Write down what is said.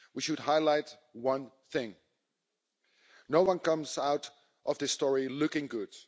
We should highlight one thing no one comes out of this story looking good.